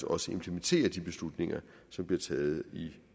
også implementerer de beslutninger som bliver taget i